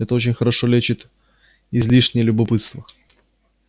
это очень хорошо лечит излишнее любопытство